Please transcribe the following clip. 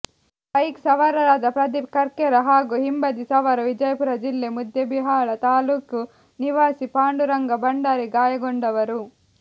bike ಸವಾರರಾದ ಪ್ರದೀಪ್ ಕರ್ಕೇರ ಹಾಗೂ ಹಿಂಬದಿ ಸವಾರ ವಿಜಾಪುರ ಜಿಲ್ಲೆ ಮುದ್ದೆಬಿಹಾಳ ತಾಲೂಕು ನಿವಾಸಿ ಪಾಂಡುರಂಗ ಭಂಡಾರಿ ಗಾಯಗೊಂಡವರು